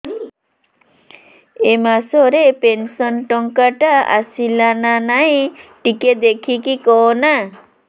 ଏ ମାସ ରେ ପେନସନ ଟଙ୍କା ଟା ଆସଲା ନା ନାଇଁ ଟିକେ ଦେଖିକି କହନା